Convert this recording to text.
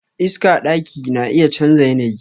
Iska daki na iya chanza yanayi.